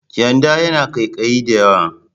Kyanda yana ƙaiƙayi da yawa.